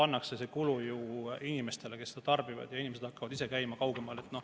Inimesed peavad hakkama käima kaugemal.